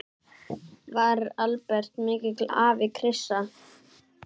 Var Albert mikill afi, Krissa?